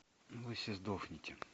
вы все сдохните